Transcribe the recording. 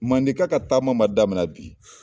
Mandenka ka taama ma daminɛ bi.